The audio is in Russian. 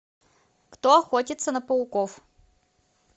кто охотится на пауков